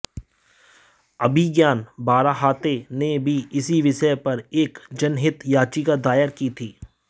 अभिज्ञान बाराहाते ने भी इसी विषय पर एक जनहित याचिका दायर की थी